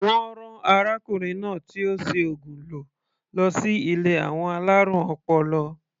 Wọ́n rán arákùnrin náà tí ó si ògùn lò lọsí ilé àwọn alárùn ọpọlọ.